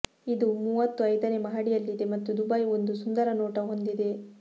ಇದು ಮೂವತ್ತು ಐದನೇ ಮಹಡಿಯಲ್ಲಿದೆ ಮತ್ತು ದುಬೈ ಒಂದು ಸುಂದರ ನೋಟ ಹೊಂದಿದೆ